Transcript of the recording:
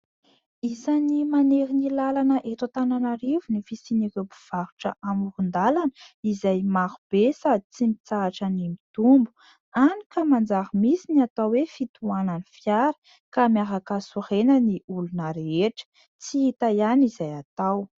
Isan'ny manery ny lalana eto Antananarivo ny fisian'ireo mpivarotra amoron-dalana izay maro be sady tsy mitsahatra ny mitombo. Any ka manjary misy ny atao hoe fitohanan'ny fiara ka miaraka sorena ny olona rehetra, tsy hita ihany izay atao.